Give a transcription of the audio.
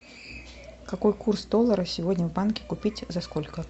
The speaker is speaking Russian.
какой курс доллара сегодня в банке купить за сколько